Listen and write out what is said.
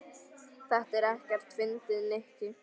Þetta er ekkert fyndið, Nikki.